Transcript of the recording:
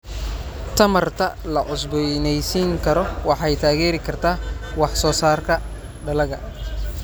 Tamarta la cusboonaysiin karo waxay taageeri kartaa wax soo saarka dalagga.